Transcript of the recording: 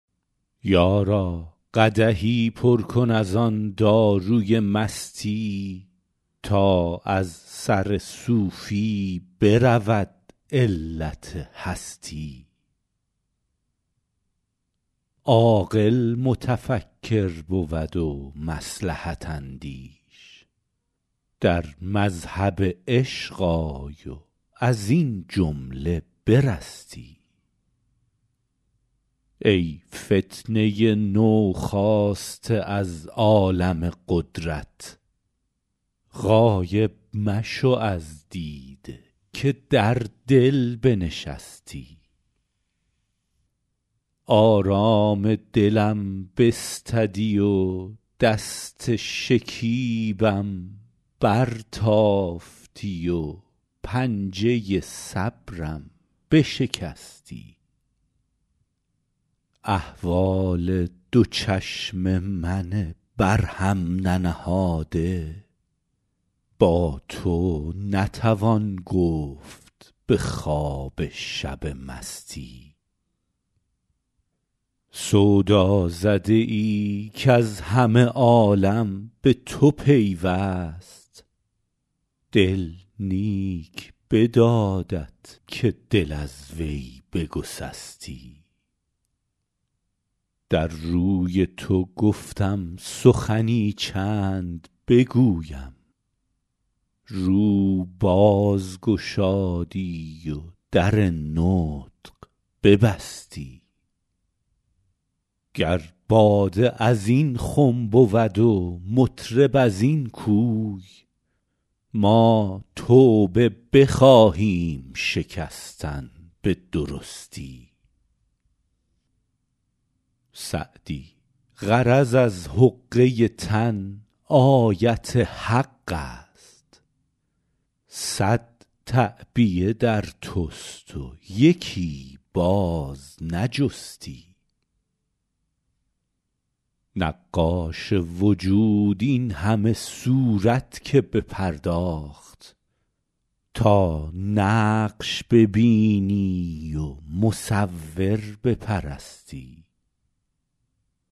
یارا قدحی پر کن از آن داروی مستی تا از سر صوفی برود علت هستی عاقل متفکر بود و مصلحت اندیش در مذهب عشق آی و از این جمله برستی ای فتنه نوخاسته از عالم قدرت غایب مشو از دیده که در دل بنشستی آرام دلم بستدی و دست شکیبم برتافتی و پنجه صبرم بشکستی احوال دو چشم من بر هم ننهاده با تو نتوان گفت به خواب شب مستی سودازده ای کز همه عالم به تو پیوست دل نیک بدادت که دل از وی بگسستی در روی تو گفتم سخنی چند بگویم رو باز گشادی و در نطق ببستی گر باده از این خم بود و مطرب از این کوی ما توبه بخواهیم شکستن به درستی سعدی غرض از حقه تن آیت حق است صد تعبیه در توست و یکی باز نجستی نقاش وجود این همه صورت که بپرداخت تا نقش ببینی و مصور بپرستی